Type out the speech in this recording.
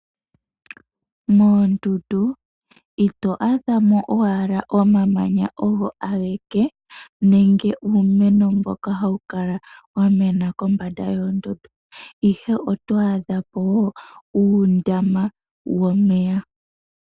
Moondundu ito adha mo owala omamanya ogo ageke nenge uumeno mboka hawu kala wa mena kombanda yoondundu. Oto adhako woo uundama womeya.